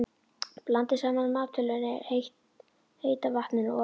Blandið saman maltölinu, heita vatninu og olíunni.